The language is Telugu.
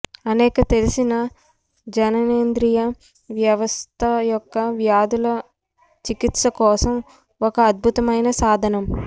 అనేక తెలిసిన జననేంద్రియ వ్యవస్థ యొక్క వ్యాధుల చికిత్స కోసం ఒక అద్భుతమైన సాధనం